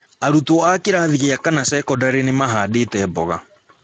Arutũo a kĩrathi gĩa kana sekondarĩ nĩ mahandĩte mboga